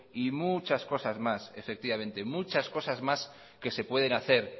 y muchas cosas más efectivamente muchas cosas más que se pueden hacer